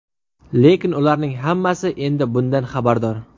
Lekin ularning hammasi endi bundan xabardor.